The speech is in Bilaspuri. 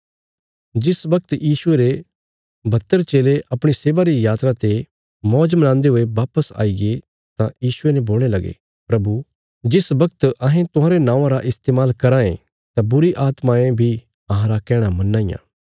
जिस बगत यीशुये रे बहत्तर चेले अपणी सेवा री यात्रा ते मौज मनांदे हुये वापस आईगे तां यीशुये ने बोलणे लगे प्रभु जिस बगत अहें तुहांरे नौआं रा इस्तेमाल कराँ ये तां बुरीआत्मायें बी अहांरा कैहणां मन्नां इयां